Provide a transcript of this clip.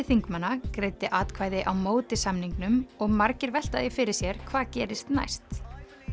þingmanna greiddi atvkvæði á móti samningnum og margir velta því fyrir sér hvað gerist næst